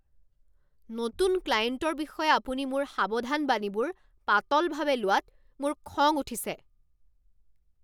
নতুন ক্লায়েণ্টৰ বিষয়ে আপুনি মোৰ সাৱধানবাণীবোৰ পাতলভাৱে লোৱাত মোৰ খং উঠিছে।